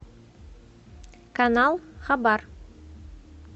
канал хабар